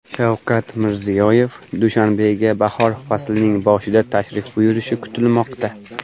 Shavkat Mirziyoyev Dushanbega bahor faslining boshida tashrif buyurishi kutilmoqda.